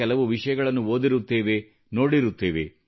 ಕೆಲವು ವಿಷಯಗಳನ್ನು ಓದಿರುತ್ತೇವೆ ನೋಡಿರುತ್ತೇವೆ